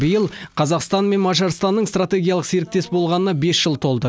биыл қазақстан мен мажарстанның стратегиялық серіктес болғанына бес жыл толды